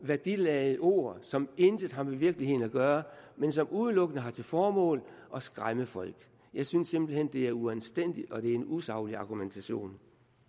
værdiladede ord som intet har med virkeligheden at gøre men som udelukkende har til formål at skræmme folk jeg synes simpelt hen det er uanstændigt og at det er en usaglig argumentation